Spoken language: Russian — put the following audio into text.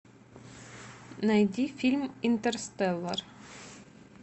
найди фильм интерстеллар